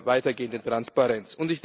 einer weitergehenden Transparenz.